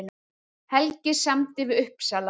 Helgi samdi við Uppsala